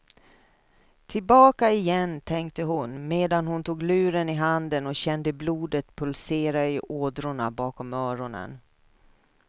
Tillbaka igen, tänkte hon medan hon tog luren i handen och kände blodet pulsera i ådrorna bakom öronen.